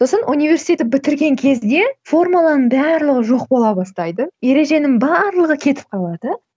сосын университетті бітірген кезде формуланың барлығы жоқ бола бастайды ереженің барлығы кетіп қалады